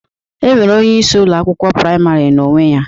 E nwere onyeisi Ụlọ akwụkwọ praịmarị na onwe ya